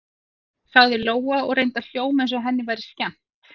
sagði Lóa og reyndi að hljóma eins og henni væri skemmt.